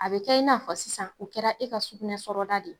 A bɛ kɛ i n'a fɔ sisan o kɛra e ka sukunɛ sɔrɔda de.